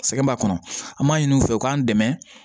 Sɛgɛn b'a kɔnɔ an m'a ɲini u fɛ u k'an dɛmɛ